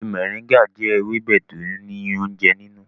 Ewe moringa jẹ ewebe ti o ni ounjẹ ninu.